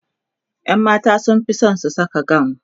ƴan mata sunfi San su Saka gawun